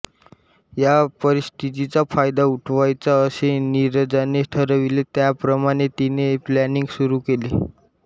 या परिस्थितीचा फायदा उठवायचा असे नीरजाने ठरविले त्याप्रमाणे तिने प्लानिंग सुरू केले